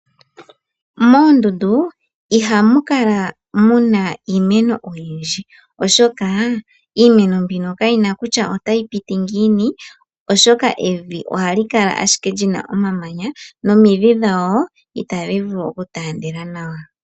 Moondundu ihamu kala muna iimeno oyindji oshoka iimeno mbino kayina kutya otayi piti ngiini oshoka evi ohali kala ashike lina omamanya nomidhi dhawo itadhi vulu okutaandela nawa.